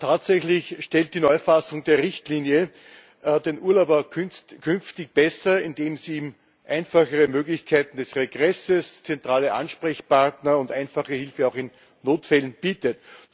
Tatsächlich stellt die Neufassung der Richtlinie den Urlauber künftig besser, indem sie ihm einfachere Möglichkeiten des Regresses, zentrale Ansprechpartner und einfache Hilfe auch in Notfällen bittet.